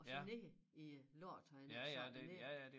Og så ned i lort havde jeg nær sagt ned